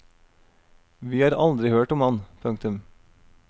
Vi har aldri hørt om ham. punktum